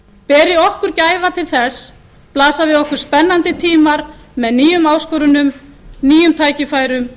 beri okkur gæfa til þess blasa við okkur spennandi tímar með nýjum áskorunum nýjum tækifærum